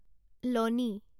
lonely